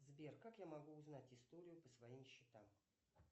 сбер как я могу узнать историю по своим счетам